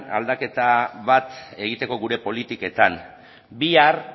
aldaketa bat egiteko gure politiketan bihar